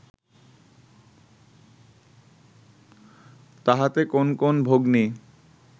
তাহাতে কোন কোন ভগ্নী